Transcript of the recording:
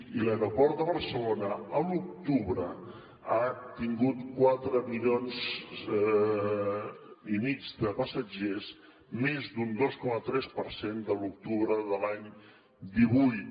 i l’aeroport de barcelona a l’octubre ha tingut quatre milions i mig de passatgers més d’un dos coma tres per cent que a l’octubre de l’any divuit